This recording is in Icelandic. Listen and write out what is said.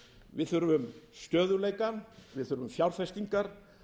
við þurfum stöðugleika við þurfum fjárfestingar